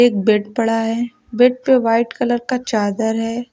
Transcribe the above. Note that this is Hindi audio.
एक बेड पड़ा है। बेड पर वाइट कलर का चादर है।